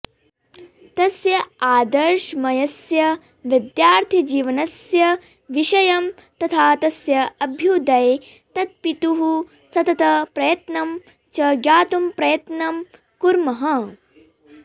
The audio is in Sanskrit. तस्य आदर्शमयस्य विद्यार्थिजीवनस्य विषयं तथा तस्य अभ्युदये तत्त्पितुः सततप्रयत्नं च ज्ञातुं प्रयत्नं कुर्मः